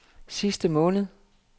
sidste måned